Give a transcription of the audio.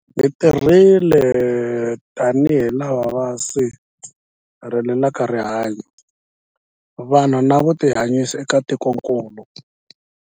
Hi tirhile tanihi lava va sirhelelaka rihanyu, vanhu na vutihanyisi eka tikokulu.